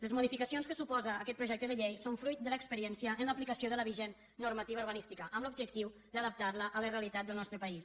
les modificacions que suposa aquest projecte de llei són fruit de l’experiència en l’aplicació de la vigent normativa urbanística amb l’objectiu d’adaptar la a la realitat del nostre país